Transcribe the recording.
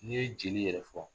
N'i ye jeli yɛrɛ fɔ